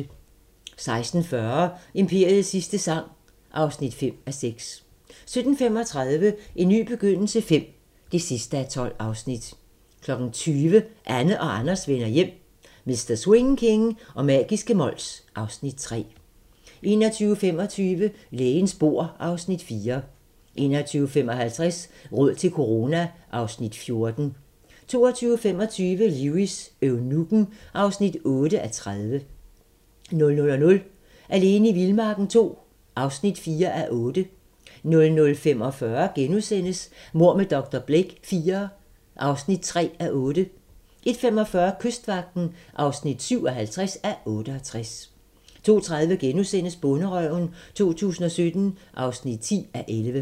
16:40: Imperiets sidste sang (5:6) 17:35: En ny begyndelse V (12:12) 20:00: Anne og Anders vender hjem - Mr. Swing King og magiske Mols (Afs. 3) 21:25: Lægens bord (Afs. 4) 21:55: Råd til corona (Afs. 14) 22:25: Lewis: Eunukken (8:30) 00:00: Alene i vildmarken II (4:8) 00:45: Mord med dr. Blake IV (3:8)* 01:45: Kystvagten (57:68) 02:30: Bonderøven 2017 (10:11)*